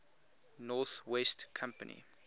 north west company